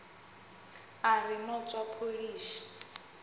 a ri no tswa pholishi